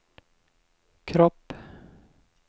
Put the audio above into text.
kropp